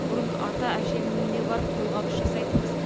бұрын ата әженің үйіне барып қолғабыс жасайтынбыз